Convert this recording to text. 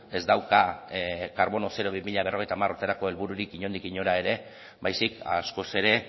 ez dauka karbono zero bi mila berrogeita hamar urterako helbururik inondik inora ere baizik askoz ere